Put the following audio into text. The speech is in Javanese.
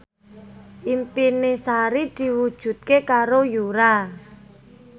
impine Sari diwujudke karo Yura